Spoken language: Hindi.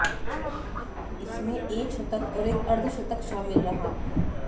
इसमें एक शतक और एक अर्धशतक शामिल रहा